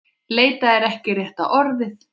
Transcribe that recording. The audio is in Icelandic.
Leita er ekki rétta orðið.